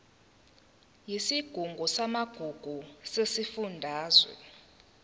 yesigungu samagugu sesifundazwe